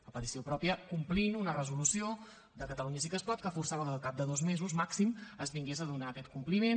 a petició pròpia complint una resolució de catalunya sí que es pot que forçava que al cap de dos mesos màxim es vingués a donar aquest compliment